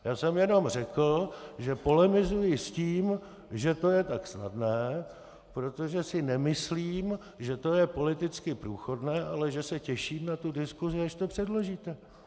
Já jsem jenom řekl, že polemizuji s tím, že to je tak snadné, protože si nemyslím, že to je politicky průchodné, ale že se těším na tu diskusi, až to předložíte.